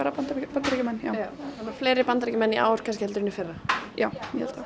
Bandaríkjamenn já þannig fleiri Bandaríkjamenn í ár en í fyrra já